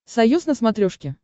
союз на смотрешке